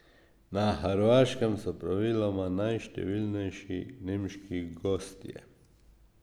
Na Hrvaškem so praviloma najštevilnejši nemški gostje.